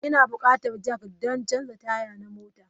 Ina bukatan jack don canza taya na mota.